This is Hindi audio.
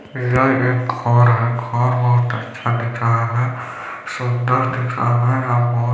ये एक घर है घर बहुत अच्छा दिख रहा है सूंदर दिख रहा है और बहुत --